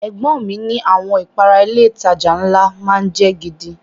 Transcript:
Ẹ̀gbọ́n ọn mi ni àwọn ìpara ilé ìtajà ńlá má ń jẹ́ gidi